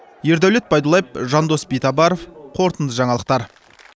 ердәулет байдуллаев жандос битабаров қорытынды жаңалықтар